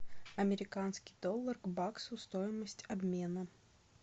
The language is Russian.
американский доллар к баксу стоимость обмена